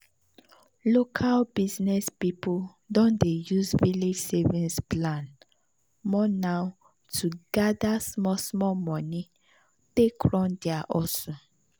local business people don dey use village savings plan more now to gather small small money take run their hustle.